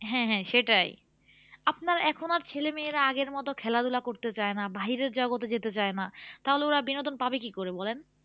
হ্যাঁ হ্যাঁ সেটাই আপনার এখন আর ছেলে মেয়েরা আগের মতো খেলাধুলা করতে চাইনা বাইরের জগতে যেতে চাই না তাহলে ওরা বিনোদন পাবেন কি করে বলেন?